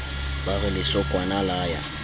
ba re lesokwana la ya